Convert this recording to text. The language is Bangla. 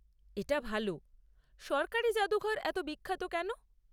এটা ভাল। সরকারি জাদুঘর এত বিখ্যাত কেন?